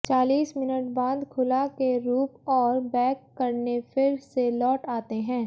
चालीस मिनट बाद खुला के रूप और बेक करने फिर से लौट आते हैं